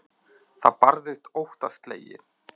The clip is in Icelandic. Það barðist óttaslegið.